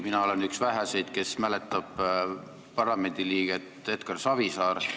Mina olen üks väheseid, kes mäletab parlamendiliiget Edgar Savisaart.